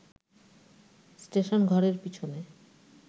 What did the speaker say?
স্টেশনঘরের পিছনে